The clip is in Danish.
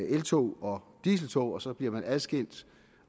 eltog og dieseltog som bliver adskilt